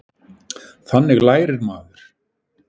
Þannig lærir maður.